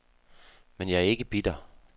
Men jeg er ikke bitter.